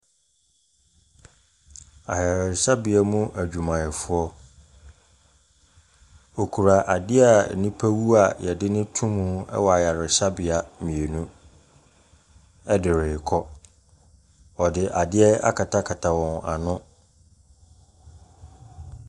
Ayaresabea mu adwumayɛfoɔ ɔkura adeɛ a nnipa wu a yɛde ne to mu ɛwɔ ayaresabea mmienu ɛde rekɔ. Ɔde adeɛ akatakata wɔn ano.